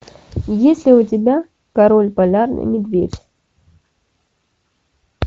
есть ли у тебя король полярный медведь